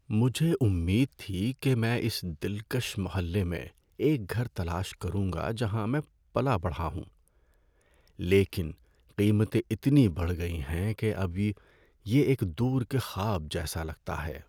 ‏مجھے امید تھی کہ میں اس دلکش محلے میں ایک گھر تلاش کروں گا جہاں میں پلا بڑھا ہوں، لیکن قیمتیں اتنی بڑھ گئی ہیں کہ اب یہ ایک دور کے خواب جیسا لگتا ہے۔